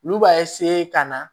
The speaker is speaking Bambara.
Olu b'a ka na